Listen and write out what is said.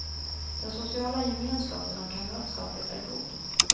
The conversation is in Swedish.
Den sociala gemenskapen och kamratskapet är god.